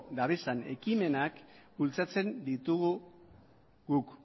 duten ekimenak bultzatzen ditugu guk